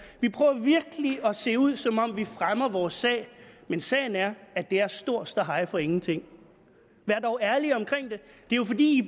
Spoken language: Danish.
vi prøver virkelig at se ud som om vi fremmer vores sag men sagen er at det er stor ståhej for ingenting vær dog ærlig omkring det det er jo fordi